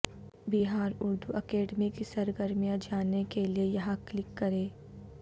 بہاراردو academy کی سرگرمیاں جاننے کیلئے یہاں کلک کریں